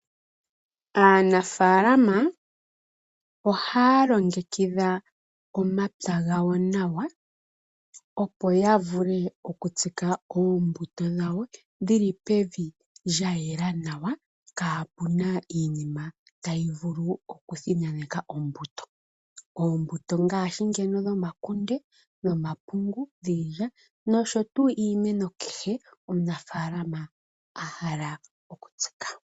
Aanafaalama ohaya longekidha omapya gawo nawa, opo ya vule oku tsika oombuto dhawo, dhili pevi lya yela nawa, kaapu na iinima tayi vulu oku thinaneka oombuto. Oombuto ngaashi ngeno dhomakunde nomapungu, dhiilya nosho tuu iimeno kehe omunafaalama a hala oku tsika.